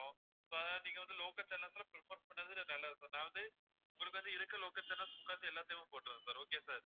இப்போ நீங்க வந்து local channels ல prefer பண்ணது நல்லது sir நான் வந்து உங்களுக்கு வந்து இருக்க local channels full லாத்தையும் எல்லாத்தையுமே போட்டு விடுறேன் sir okay வா sir